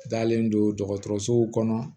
Dalen don dɔgɔtɔrɔsow kɔnɔ